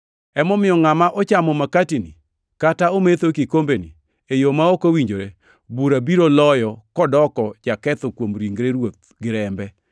Emomiyo ngʼama ochamo makatini kata ometho e kikombeni e yo ma ok owinjore, bura biro loyo kodoko jaketho kuom ringre Ruoth gi rembe.